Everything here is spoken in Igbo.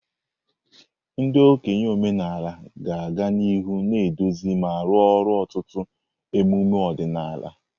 Ndị okenye omenala ga-aga n'ihu na-eduzi ma arụ ọrụ ọtụtụ emume ọdịnala.